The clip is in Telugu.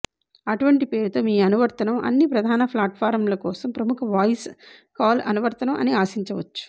అటువంటి పేరుతో మీరు అనువర్తనం అన్ని ప్రధాన ప్లాట్ఫారమ్ల కోసం ప్రముఖ వాయిస్ కాల్ అనువర్తనం అని ఆశించవచ్చు